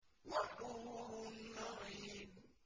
وَحُورٌ عِينٌ